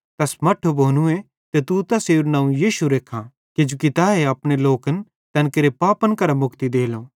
तैस मट्ठू भोनूए ते तू तैसेरू नवं यीशु रेखां किजोकि तैए अपने लोकन तैन केरे पापन करां मुक्ति देलो